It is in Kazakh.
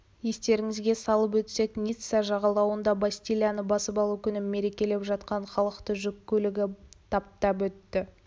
естеріңізге салып өтсек ницца жағалауында бастилияны басып алу күнін мерекелеп жатқан халықты жүк көлігі таптап өтіп